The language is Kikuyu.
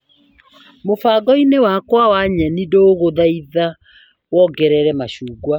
Mũbango-inĩ wakwa wa nyeni ndagũthaitha wongerere macungwa.